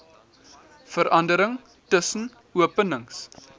verandering tussen openings